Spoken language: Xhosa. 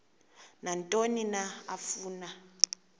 nantoni na afuna